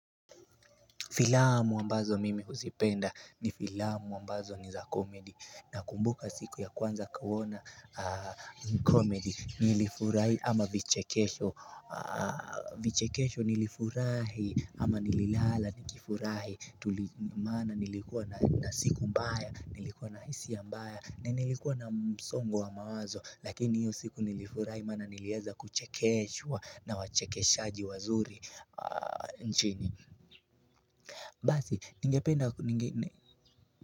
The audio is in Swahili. Filamu ambazo mimi huzipenda ni filamu ambazo ni za komedi na kumbuka siku ya kwanza kuwona komedi nilifurahi ama vichekesho nilifurahi ama nililala nikifurahi Mana nilikuwa na siku mbaya, nilikuwa na hisia mbaya, na nilikuwa na msongo wa mawazo Lakini hiyo siku nilifurahi mana nilieza kuchekesho na wachekeshaji wazuri nchini Basi, ni ngependa.